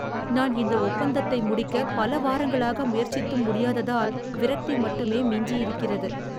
நான் இந்த ஒப்பந்தத்தை முடிக்க பல வாரங்களாக முயற்சித்தும் முடியாததால், விரக்தி மட்டுமே மிஞ்சி இருக்கிறது